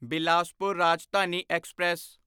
Bilaspur Rajdhani express